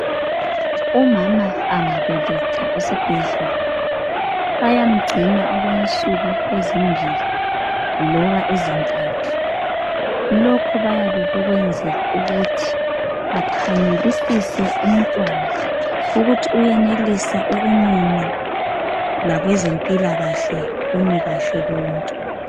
Umama angabeletha esibhedlela bayamgcina okwensuku eImbili loba ezintathu lokhu bayabe bekwenzela ukuthi akhangelisise umntwana ukuthi uyenelisa ukumunya lakwezempilakahle kumikahle konke.